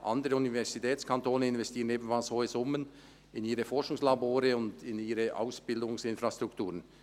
Andere Universitätskantone investieren ebenfalls hohe Summen in ihre Forschungslabore und Ausbildungsinfrastrukturen.